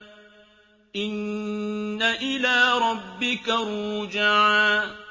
إِنَّ إِلَىٰ رَبِّكَ الرُّجْعَىٰ